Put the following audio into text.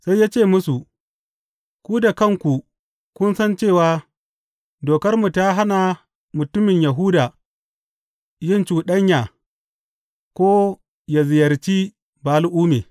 Sai ya ce musu, Ku da kanku kun san cewa dokarmu ta hana mutumin Yahuda yin cuɗanya, ko ya ziyarci Ba’al’umme.